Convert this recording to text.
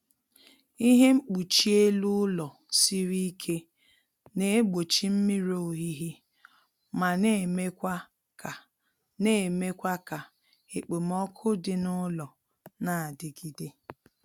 Ihe mkpuchi elu ụlọ siri ike na-egbochi mmiri ohihi ma na-emekwa ka na-emekwa ka ekpomọku dị n'ụlọ na-adigide